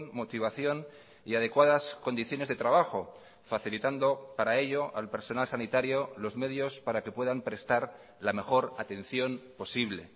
motivación y adecuadas condiciones de trabajo facilitando para ello al personal sanitario los medios para que puedan prestar la mejor atención posible